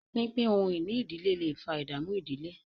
pínpín ohun-ìní ìdílé lẹ fà ìdààmú ìdílé.